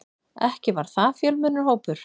Ekki var það fjölmennur hópur.